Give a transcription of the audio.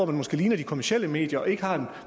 måske ligner de kommercielle medier og ikke har en